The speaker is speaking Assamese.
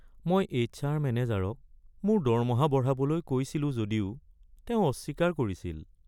মই এইছ আৰ মেনেজাৰক মোৰ দৰমহা বঢ়াবলৈ কৈছিলোঁ যদিও তেওঁ অস্বীকাৰ কৰিছিল।